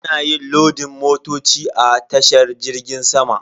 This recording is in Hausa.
Ana yin lodin motoci a tashar jirgin sama.